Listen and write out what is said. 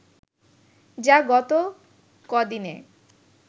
যা গত কদিনে